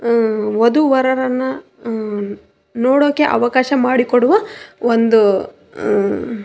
ವದು ವರರನ್ನ ನೋಡೊಕೆ ಅವಕಾಶ ಮಾಡಿಕೊಡುವ ಒಂದು --